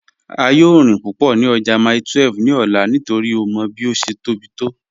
A yòò rín púpọ́ ní ọ̀jà Mile 12 ní òlà nítorí ó mọ́ bí ó ṣé tó bí to.